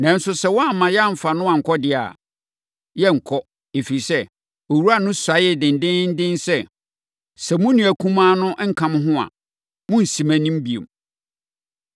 Nanso, sɛ woamma yɛamfa no ankɔ deɛ a, yɛrenkɔ, ɛfiri sɛ, owura no suaee dendeenden sɛ, ‘Sɛ mo nua kumaa no nka mo ho a, monnsi mʼanim bio.’ ”